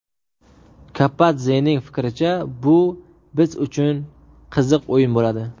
Kapadzening fikricha, bu biz uchun qiziq o‘yin bo‘ladi.